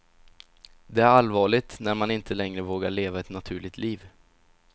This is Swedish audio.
Det är allvarligt när man inte längre vågar leva ett naturligt liv.